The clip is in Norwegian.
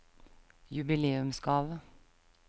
jubileumsgave